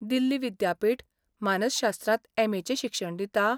दिल्ली विद्यापीठ मानसशास्त्रांत एम.ए. चें शिक्षण दिता?